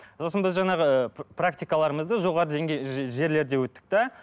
сосын біз жаңағы ыыы практикаларымызды жоғарғы деңгейлі жерлерде өттік те